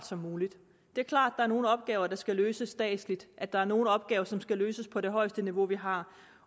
som muligt det er klart at der er nogle opgaver der skal løses statsligt at der er nogle opgaver som skal løses på det højeste niveau vi har